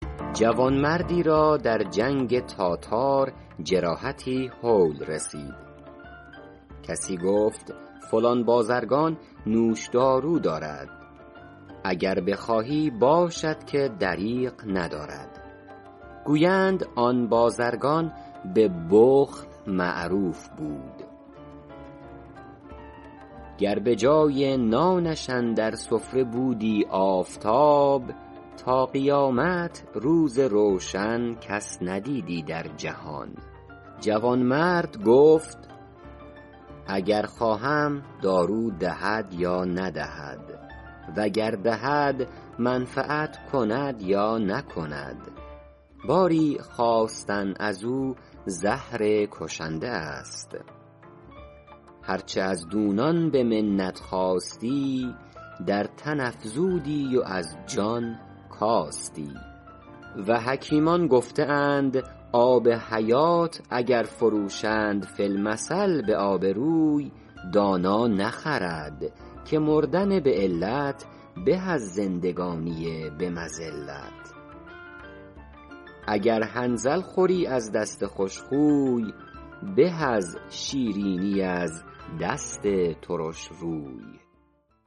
جوانمردی را در جنگ تاتار جراحتی هول رسید کسی گفت فلان بازرگان نوش دارو دارد اگر بخواهی باشد که دریغ ندارد گویند آن بازرگان به بخل معروف بود گر به جای نانش اندر سفره بودی آفتاب تا قیامت روز روشن کس ندیدی در جهان جوانمرد گفت اگر خواهم دارو دهد یا ندهد و گر دهد منفعت کند یا نکند باری خواستن از او زهر کشنده است هر چه از دونان به منت خواستی در تن افزودی و از جان کاستی و حکیمان گفته اند آب حیات اگر فروشند فی المثل به آب روی دانا نخرد که مردن به علت به از زندگانی به مذلت اگر حنظل خوری از دست خوش خوی به از شیرینی از دست ترش روی